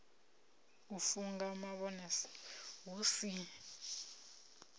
u funga mavhone hu si